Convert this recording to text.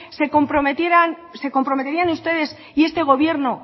se comprometerían ustedes y este gobierno